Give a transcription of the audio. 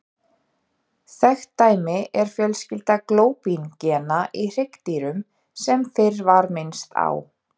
Þekkt dæmi er fjölskylda glóbín-gena í hryggdýrum sem fyrr var minnst á.